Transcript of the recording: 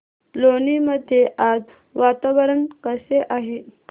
लोणी मध्ये आज वातावरण कसे आहे